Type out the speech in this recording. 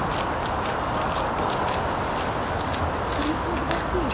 sea food বেশি?